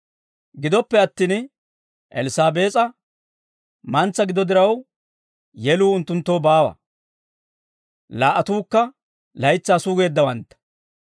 Gidoppe attin Elssaabees'a mantsa gido diraw, yeluu unttunttoo baawa. Laa"atuukka laytsaa sugeeddawantta.